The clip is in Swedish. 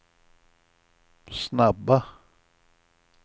snabba